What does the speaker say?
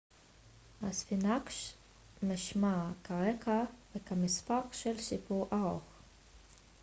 הספינקס משמש כרקע וכמספר של סיפור ארוך